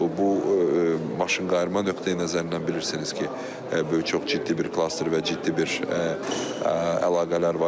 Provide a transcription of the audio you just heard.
bu maşınqayırma nöqteyi-nəzərindən bilirsiniz ki, çox ciddi bir klaster və ciddi bir əlaqələr var.